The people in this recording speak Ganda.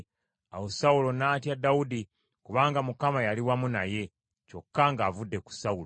Awo Sawulo n’atya Dawudi, kubanga Mukama yali wamu naye, kyokka ng’avudde ku Sawulo.